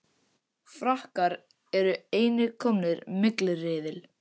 Frakkar eru einnig komnir í milliriðil